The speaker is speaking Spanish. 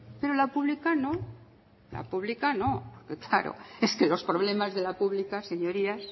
pero la pública no la pública no claro es que los problemas de la pública señorías